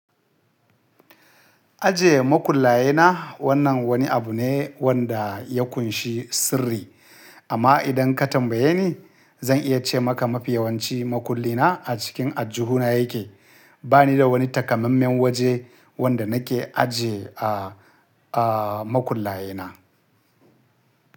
Ajiye makullaye na wannan wani abu ne wanda ya ƙunshi sirri, amma idan ka tambaye ni, zan iya ce maka mafi yawanci makulli na a cikin aljihu na ya ke. Ba ni da wani takammamen waje wanda na ke ajiye a, a makullaye na.